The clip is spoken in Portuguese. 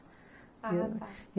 Ah, tá.